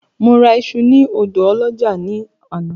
Mo ra iṣu ní ọ̀dọ ọlọ́jà ní àná